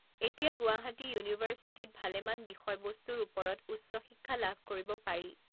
এতিয়া গুৱাহাটী ইউনিভাৰ্ছিটিত ভালেমান বিষয় বস্তুৰ ওপৰত উচ্চ শিক্ষা লাভ কৰিব পাৰি